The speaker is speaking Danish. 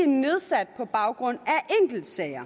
nedsat på baggrund